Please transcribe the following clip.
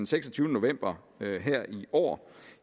seksogtyvende november her i år